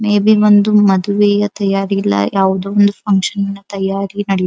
May be ಒಂದು ಮದುವೆಯ ತಯಾರಿ ಇಲ್ಲಾ ಯಾವದೋ ಒಂದು ಫಕ್ಷನ್ ನಿನ ತಯಾರಿ ನಡೀತದ್.